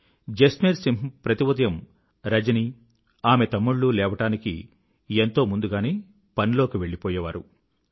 జస్మేర్ సింహ్ ప్రతి ఉదయం రజని ఆమె తమ్ముళ్ళు లేవడానికి ఎంతో ముందుగానే పనిలోకి వెళ్ళిపోయేవారు